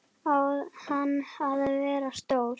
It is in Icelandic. Á hann að vera stór?